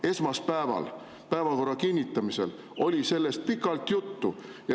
Esmaspäeval päevakorra kinnitamisel oli sellest pikalt juttu.